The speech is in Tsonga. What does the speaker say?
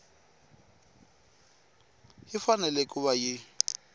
yi fanele ku va yi